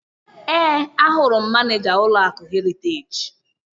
Ee, ahụrụ m Manịja ụlọakụ Heriteji.